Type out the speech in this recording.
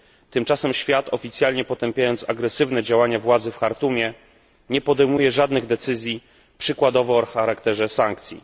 Tymczasem świat oficjalnie potępiając agresywne działania władzy w Chartumie, nie podejmuje żadnych decyzji, przykładowo o charakterze sankcji.